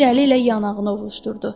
Bir əli ilə yanağını ovuşdurdu.